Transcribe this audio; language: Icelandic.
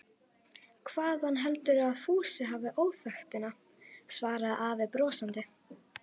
Hvaðan heldurðu að Fúsi hafi óþekktina? svaraði afi brosandi.